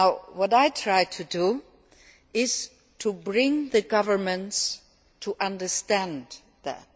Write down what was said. What I try to do is to bring the governments to understand this.